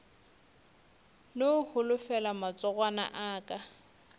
no holofela matsogwana a aka